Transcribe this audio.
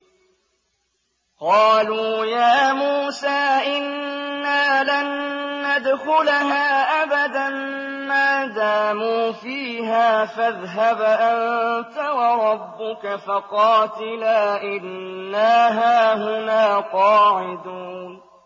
قَالُوا يَا مُوسَىٰ إِنَّا لَن نَّدْخُلَهَا أَبَدًا مَّا دَامُوا فِيهَا ۖ فَاذْهَبْ أَنتَ وَرَبُّكَ فَقَاتِلَا إِنَّا هَاهُنَا قَاعِدُونَ